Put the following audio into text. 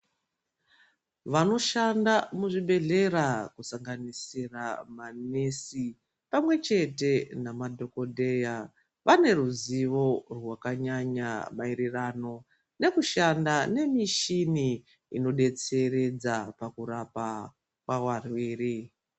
Vanoshanda muzvi bhedhlera kusanganisira manesi pamwechete nama dhogodheya. Vaneruzivo rwakanyanya maererano nekushanda nemishini ino betseredza pakurapa kwavarwere.